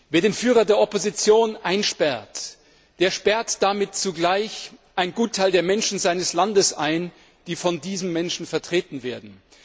Wer den Führer der Opposition einsperrt, der sperrt damit zugleich einen Gutteil der Menschen seines Landes ein, die von diesem Menschen vertreten werden.